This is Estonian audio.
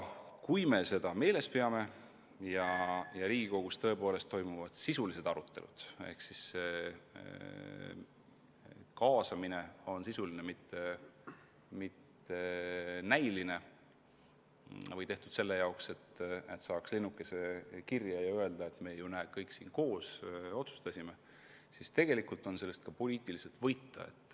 Kui me seda meeles peame ja Riigikogus toimuvad tõepoolest sisulised arutelud, mille korral kaasamine on sisuline, mitte näiline või tehtud selle jaoks, et saaks linnukese kirja ja öelda, et näete, me ju kõik koos otsustasime, siis tegelikult võib sellest ka poliitiliselt võita.